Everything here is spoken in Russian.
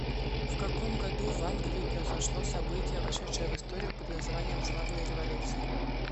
в каком году в англии произошло событие вошедшее в историю под названием славная революция